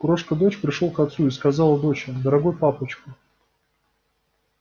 крошка дочь пришёл к отцу и сказала доча дорогой папочка